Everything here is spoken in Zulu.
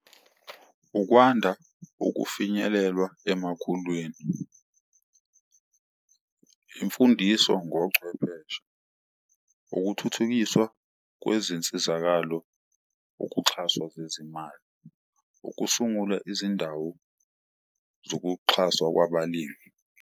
Ukwanda ukufinyelelwa emakhulwini, imfundiso ngochwepheshe, ukuthuthukiswa kwezinsizakalo ukuxhaswa zezimali, ukusungula izindawo zokuxhaswa kwabalimi.